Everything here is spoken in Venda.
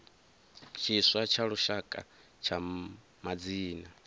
tshiswa tsha lushaka tsha madzina